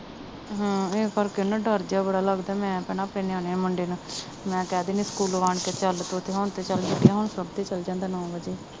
ਹਾਂ ਇਹ ਕਰਕੇ ਨਾ ਡਰ ਜਿਹਾ ਬੜਾ ਲੱਗਦਾ ਮੈਂ ਭੈਣਾਂ ਆਪਣੇ ਨਿਆਣੇ ਮੁੰਡੇ ਨੂੰ ਮੈਂ ਕਹਿ ਦਿਨੀਂ ਸਕੂਲੋਂ ਆਉਣ ਕੇ ਚੱਲ ਪੁੱਤ ਹੁਣ ਤੇ ਚੱਲ ਛੁੱਟੀਆਂ ਹੁਣ ਤੇ ਚੱਲ ਜਾਂਦਾ ਨੌਂ ਵੱਜੇ